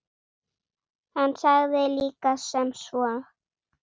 Hann sagði líka sem svo